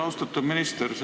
Austatud minister!